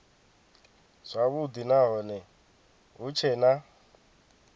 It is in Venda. zwavhudi nahone hu tshee na